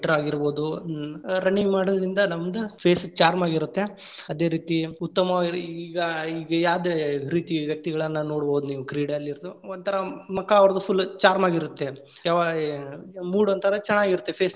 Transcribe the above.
ಆಗಿರಬೋದು ‌running ಮಾಡೋದ್ರಿಂದ ನಮ್ದ್ face charm ಆಗಿರುತ್ತೆ, ಅದೇ ರೀತಿ ಉತ್ತಮವಾಗಿ ಈಗಾ ಈಗ್‌~ ಯಾವ್ದ ರೀತಿ ವ್ಯಕ್ತಿಗಳನ್ನ ನೋಡ್ಬಹುದು ನೀವು ಕ್ರೀಡೆಯಲ್ಲಿರೊರ್ದ ಒಂಥರಾ ಮುಖ ಅವ್ರ್ದ್ ‌full charm lang:Foreign ಆಗಿರುತ್ತೆ. ಯಾವಾ~ mood ಒಂಥರಾ ಚೆನ್ನಾಗಿರತ್ತೆ face .